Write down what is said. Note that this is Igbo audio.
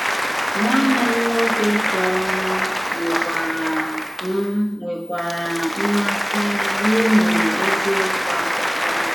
Nwànnè m nwòkè tọrọ m nwèkwàrà m nwèkwàrà mmàsị n'ịmụ èzìòkwù àkụkọ.